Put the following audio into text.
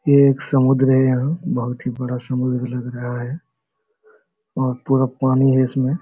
ये एक समुद्र है यहां यह बहुत ही बड़ा समुद्र लग रहा है और पूरा पानी है इसमें।